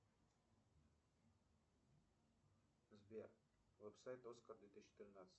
сбер веб сайт оскар две тысячи тринадцать